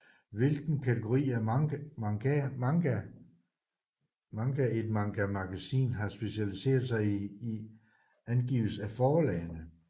Hvilken kategori af manga et mangamagasin har specialiseret sig i angives af forlagene